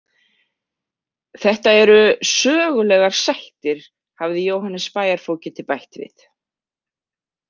Þetta eru sögulegar sættir, hafði Jóhannes bæjarfógeti bætt við.